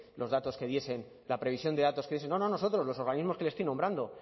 los datos que diesen la previsión de datos que diesen no nosotros los organismos que le estoy nombrando